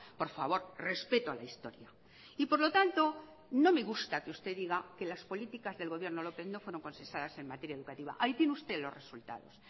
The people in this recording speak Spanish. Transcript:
por favor respeto a la historia y por lo tanto no me gusta que usted diga que las políticas del gobierno lópez no fueron consensuadas en materia educativa ahí tiene usted los resultados